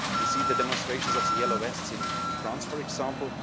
You see the demonstrations of the Yellow Vests in France, for example.